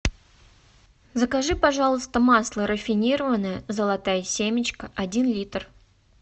закажи пожалуйста масло рафинированное золотая семечка один литр